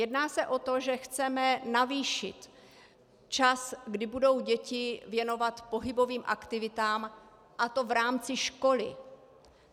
Jedná se o to, že chceme navýšit čas, kdy budou děti věnovat pohybovým aktivitám, a to v rámci školy.